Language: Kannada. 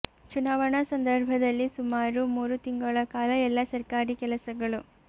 ಚುನಾವಣಾ ಸಂದರ್ಭದಲ್ಲಿ ಸುಮಾರು ಮೂರು ತಿಂಗಳ ಕಾಲ ಎಲ್ಲಾ ಸರ್ಕಾರಿ ಕೆಲಸಗಳು